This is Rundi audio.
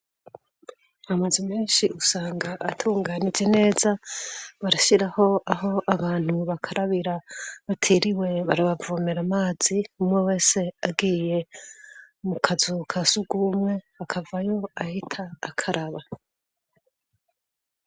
Amazu meshi usanga atunganijwe neza, barashiraho Aho abantu bakarabira batiriwe barabavomera amazi umwewese agiyeho mukazu ka sugumwe akavayo ahita akaraba.